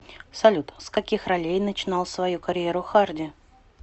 салют с каких ролей начинал свою карьеру харди